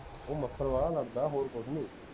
ਉਹ ਮੱਛਰ ਬਾਲਾ ਲੜਦਾ, ਹੋਰ ਕੁਛ ਨੀ